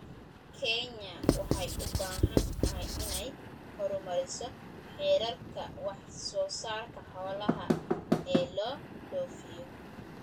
Kenya waxay u baahan tahay inay horumariso heerarka wax soo saarka xoolaha ee loo dhoofiyo.